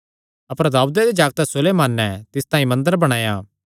अपर दाऊदे दे जागतैं सुलेमाने तिस तांई मंदर बणाया